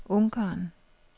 Ungarn